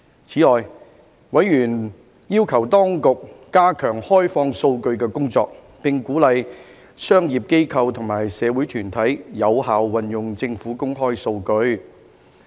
此外，委員要求當局加強開放數據的工作，並鼓勵商業機構和社會團體有效運用政府公開數據。